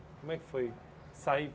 Como é que foi sair?